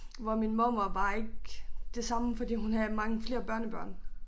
Hvor min mormor var ikke det samme fordi hun havde mange flere børnebørn